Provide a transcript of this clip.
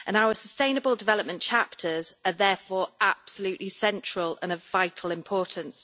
Our sustainable development chapters are therefore absolutely central and of vital importance.